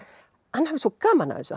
hann hafi svo gaman af þessu